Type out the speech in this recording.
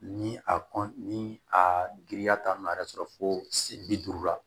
Ni a kɔn ni a giriya t'a nɔ a yɛrɛ sɔrɔ fo si bi duuru la